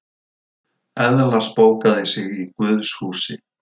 Eðla spókaði sig í guðshúsi